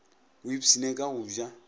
o ipshine ka go ja